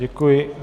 Děkuji.